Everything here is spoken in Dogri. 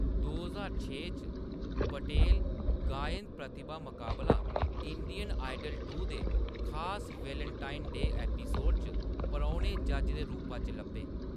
दो ज्हार छे च, पटेल गायन प्रतिभा मकाबला इंडियन आइडल टू दे खास वेलेंटाइन-डे एपिसोड च परौह्‌‌‌ने जज्ज दे रूपा च लब्भे ।